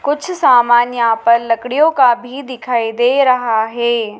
कुछ सामान यहां पर लकड़ियों का भी दिखाई दे रहा हैं।